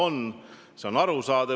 See siht on arusaadav.